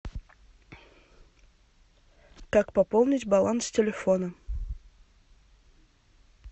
как пополнить баланс телефона